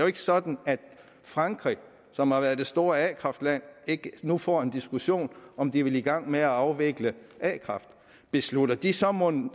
ikke sådan at frankrig som har været det store a kraft land ikke nu får en diskussion om de vil i gang med at afvikle a kraft beslutter de så mon